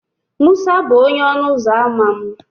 Musa bụ onye ọnụ ụzọ ámá m.